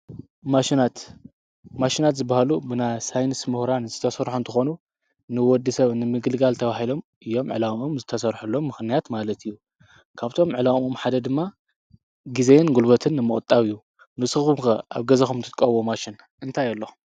ማሽናት፡-ማሽናት ዝበሃሉ ብናይ ሳይንስ ሙሁራን ዝተሰርሑ እንትኾኑ ንወዲ ሰብ ንምግልጋል ተብሂሎም እዮም ዕላኦም ዝተሠርሑሎም ምኽንያት ማለት እዩ፡፡ ካብቶም ዕላኦም ሓደ ድማ ጊዜን ጕልበትን ምቑጣብ እዩ፡፡ ንስኹም ከ ኣብ ገዛኹም ትጥቀምዎ ማሽን እንታይ ኣሎ?